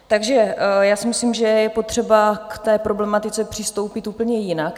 Takže já si myslím, že je potřeba k té problematice přistoupit úplně jinak.